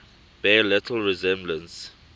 bear little resemblance